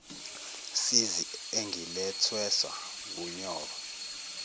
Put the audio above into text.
sizi engilwethweswa wunyoko